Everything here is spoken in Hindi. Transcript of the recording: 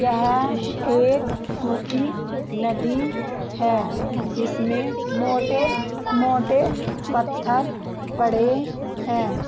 यह एक सुखी नदी है इसमे मोटे-मोटे पत्थर पड़े है।